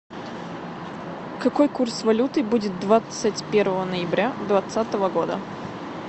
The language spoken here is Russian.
какой курс валюты будет двадцать первого ноября двадцатого года